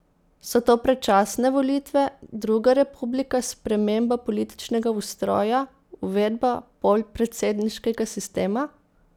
So to predčasne volitve, druga republika, sprememba političnega ustroja, uvedba polpredsedniškega sistema?